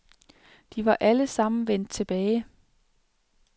De var alle sammen vendt tilbage.